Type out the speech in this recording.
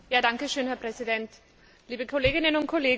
Herr Präsident, liebe Kolleginnen und Kollegen!